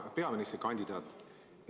Hea peaministrikandidaat!